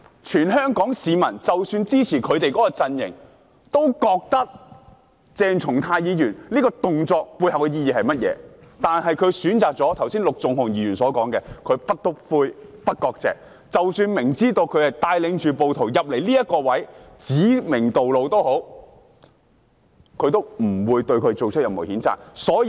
全香港市民——即使是支持他們陣營的市民——都清楚鄭松泰議員此舉的背後意義是甚麼，但反對派議員卻選擇了陸頌雄議員剛才所說的"不'篤灰'、不割席"，即使明知道他帶領着暴徒進入某位置，又指明道路也好，他們都不會對他作出任何譴責。